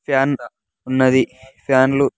Fan ఉన్నది ఫ్యాన్లు .